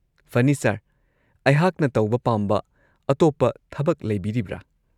ꯐꯅꯤ ꯁꯔ, ꯑꯩꯍꯥꯛꯅ ꯇꯧꯕ ꯄꯥꯝꯕ ꯑꯇꯣꯞꯄ ꯊꯕꯛ ꯂꯩꯕꯤꯔꯤꯕ꯭ꯔꯥ?